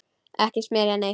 Ekki smyrja neitt.